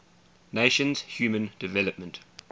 nations human development